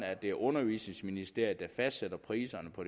at det er undervisningsministeriet der fastsætter priserne på